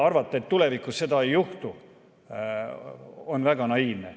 Arvata, et tulevikus seda ei juhtu, on väga naiivne.